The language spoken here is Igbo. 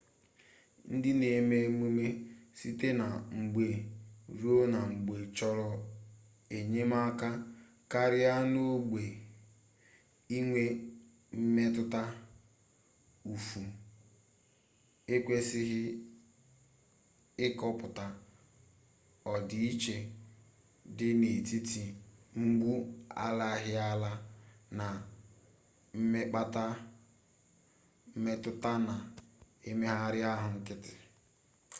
ndị na-eme emume site na mgbe ruo na mgbe chọrọ enyemaka karịa n'ogbe inwe mmetụta ụfụ ekwesịghị ịkọpụta ọdịiche dị n'etiti mgbu alaghịala na mmekpaahụ mmetụta na mmegharị ahụ nkịtị